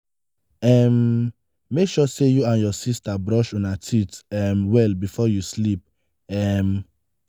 um make sure say you and your sister brush una teeth um well before you sleep. um